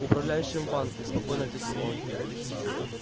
управляющим в банке спокойно ответил он